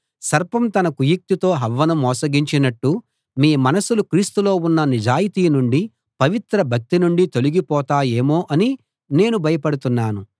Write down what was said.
సర్పం తన కుయుక్తితో హవ్వను మోసగించినట్టు మీ మనసులు క్రీస్తులో ఉన్న నిజాయితీ నుండి పవిత్ర భక్తి నుండి తొలగిపోతాయేమో అని నేను భయపడుతున్నాను